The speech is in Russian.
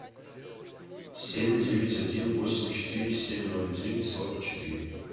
семь девять один восемь четыре семь ноль девять сорок четыре